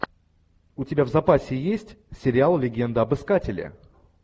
у тебя в запасе есть сериал легенда об искателе